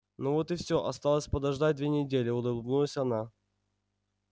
ну вот и всё осталось подождать две недели улыбнулась она